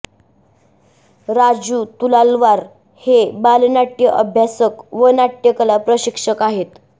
राजू तुलालवार हे बालनाट्य अभ्यासक व नाट्यकला प्रशिक्षक आहेत